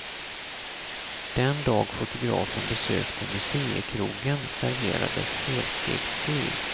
Den dag fotografen besökte museikrogen serverades helstekt sill.